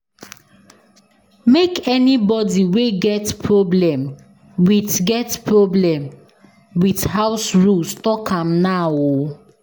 Make anybody wey get problem wit house rules tok am now o.